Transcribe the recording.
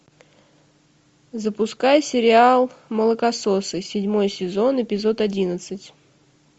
запускай сериал молокососы седьмой сезон эпизод одиннадцать